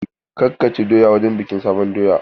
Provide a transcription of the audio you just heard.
Kar ka ci doya wurin bikin sabon doya!